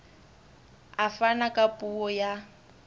a fana ka puo ya